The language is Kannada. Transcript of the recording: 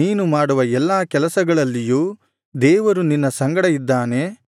ನೀನು ಮಾಡುವ ಎಲ್ಲಾ ಕೆಲಸಗಳಲ್ಲಿಯೂ ದೇವರು ನಿನ್ನ ಸಂಗಡ ಇದ್ದಾನೆ